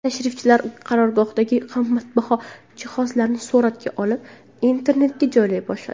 Tashrifchilar qarorgohdagi qimmatbaho jihozlarni suratga olib, internetga joylay boshladi.